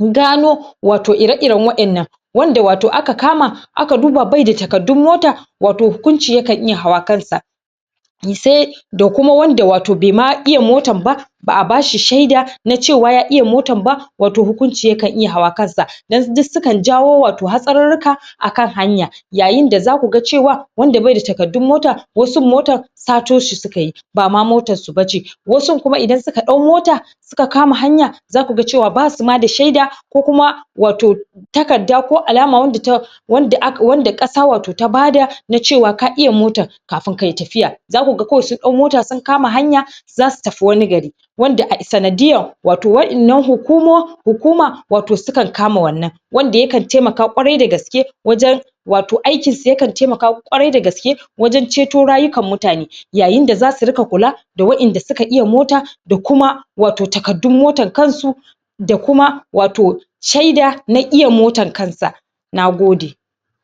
gano wato ire iren wa'ennan wanda wato aka kama aka dubba bai da takardun mota wato hukunci ya kan iya hawa kansa sai da kuma wanda wato bai ma iya motan ba ba'a bashi sheda na cewa ya iya motan ba wato hukunci yakan iya hawa kansa dan duk su kan jawo wato hasarrurruka a kan hanya yayin da zaku ga cewa wanda bai da takardun mota wasu motan sato shi suka yi bama motan su bace wasun kuma idan suka dau mota suka kama hana zaku ga ma ga basu ma da sheda ko kuma wato takarda ko alama wanda kasa wato ta bada na cewa ka iya motan kafun kayi tafiya zaku ga kawai sun dau mota sun kama hanya zasu tafi wani gari wanda sanadiyan wato wa'ennan hukuma wato sukan kama wannan wanda ya kan taimaka ƙwarai dagaske wajen wato aikin su ya kan taimaka ƙwarai dagaske wajen ceto rayukan mutane yayin da zasu ringa kula da wa'enda suka iya mota da kuma wato takardun motan kansu da kuma wato sheda na iya motan kansa nagode